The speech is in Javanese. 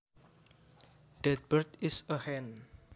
That bird is a hen